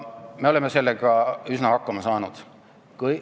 Me oleme sellega üsna hästi hakkama saanud.